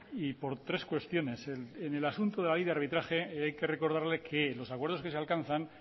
por tres cuestiones en el asunto de ahí de arbitraje hay que recordarle que los acuerdos que se alcanzan